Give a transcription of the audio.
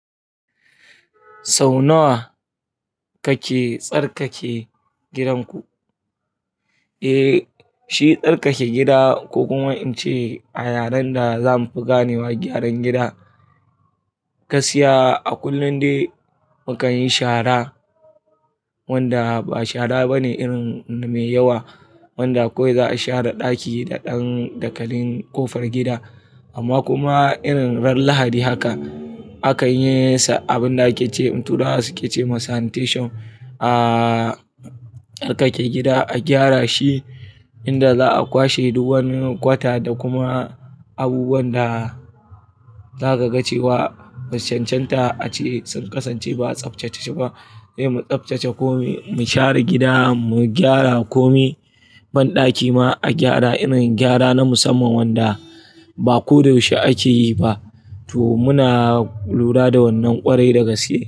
Sau nawa kake tsarkake gidanku? Eh, shi tsarkake gida ko kuma in ce a yaren da zamu fi gane wa gyaran gida ka siya a kullum dai mukan yi shara wanda ba shara bane irin mai yawa wanda kawai za a share daki da ɗan dakalin ƙofar gida amma kuma irin ran lahadi haka akan yinsa abinda kice in tura suke ce ma sanitation. Tsarkake gida a gyara shi inda za'a kwashe duk wani kwata da kuma abubuwan da zaka ga cewa basucancanta ace sun kasance ba a tsaftace shi ba. Eh mu tsaftace ko mu share gida mu gyara ko mi banɗaki ma a gyara irin gyara na musamman wanda ba koyaushe ake yi ba. To muna lura da wannan ƙwarai da gasge.